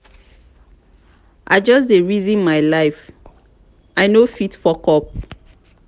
i just dey reason my life i no fit fuck up.